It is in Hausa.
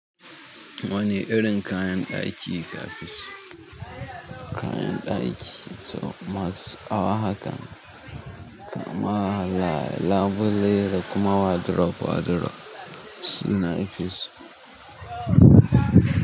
Wane irin kayan ɗaki kafi so? Kayan ɗaki masu ƙawa haka kuma labule da kuma wardrobe. Sune nake so.